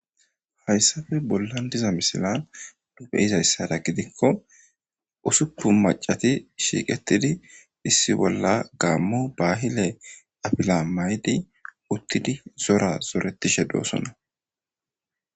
Haysape bolan de'iza miselan be'izaysa gidiko usupun macati dheegetidi issi bolla gamo bahile afila mayidi utidi zora zoretishe doosona.